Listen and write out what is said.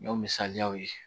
N y'o misaliyaw ye